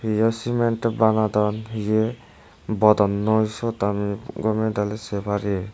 hiye cement banadon hiye bodonnoi sut ami gome dale sey parir.